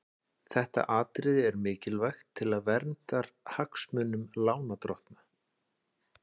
Þetta atriði er mikilvægt til verndar hagsmunum lánardrottna.